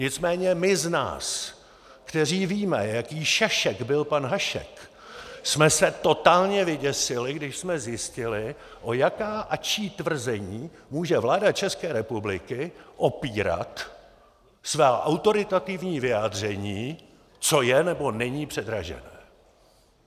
Nicméně my z nás, kteří víme, jaký šašek byl pan Hašek, jsme se totálně vyděsili, když jsme zjistili, o jaká a čí tvrzení může vláda České republiky opírat svá autoritativní vyjádření, co je nebo není předražené.